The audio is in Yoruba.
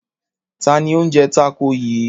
Ta ni ó ń jẹ tákò yìí?